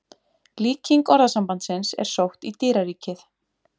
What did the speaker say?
Líking orðasambandsins er sótt í dýraríkið.